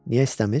Niyə istəmir?